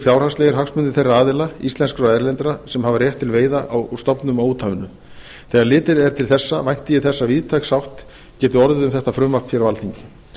fjárhagslegir hagsmunir þeirra aðila íslenskra og erlendra sem hafa rétt til veiða á stofnum á úthafinu þegar litið er til þessa vænti ég þess að víðtæk sátt geti orðið um þetta frumvarp hér á alþingi að